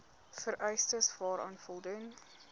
vereistes waaraan voldoen